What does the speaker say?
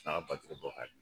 A ka batiri bɔ ka di.